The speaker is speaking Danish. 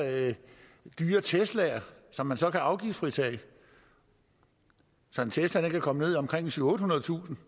dyre teslaer som man så kan afgiftsfritage så en tesla kan komme ned omkring syvhundredetusind